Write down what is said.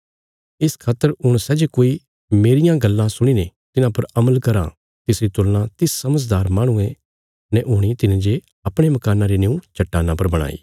इस खातर हुण सै जे कोई मेरियां गल्लां सुणीने तिन्हां पर अमल कराँ तिसरी तुलना तिस समझदार माहणुये ने हूणी तिने जे अपणे मकाना री निऊँ चट्टाना पर बणाई